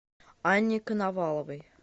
анне коноваловой